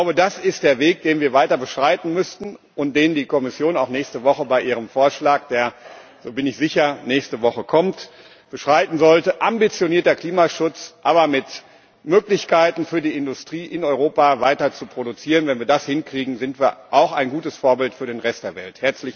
Ich glaube, das ist der Weg, den wir weiter beschreiten müssten und den die Kommission auch nächste Woche bei ihrem Vorschlag, der, da bin ich sicher, nächste Woche kommt, beschreiten sollte ambitionierter Klimaschutz, aber mit Möglichkeiten für die Industrie, in Europa weiter zu produzieren Wenn wir das hinkriegen, sind wir auch ein gutes Vorbild für den Rest der Welt.